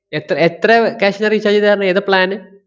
എത്ത~ എത്ര cash ന് recharge ചെയ്താര്ന്ന്? ഏതാ plan ന്?